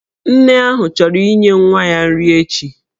Nne ahụ chọrọ inye nwa ya nri echi.